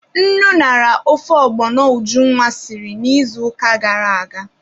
Nnu ñara ofe ọgbọnọ Ujunwa siri n'izuụka gara aga.